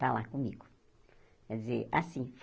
Está lá comigo. Quer dizer assim